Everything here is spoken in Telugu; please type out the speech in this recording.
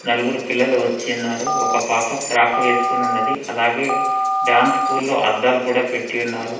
నలుగురు పిల్లలు వచ్చినారు ఒక పాప ఫ్రాక్ వేసుకుని ఉన్నది అలాగే డాన్స్ స్కూల్లో అద్దాలు కూడా పెట్టి ఉన్నారు.